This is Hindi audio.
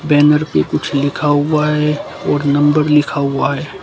बैनर पे कुछ लिखा हुआ है और नंबर लिखा हुआ है।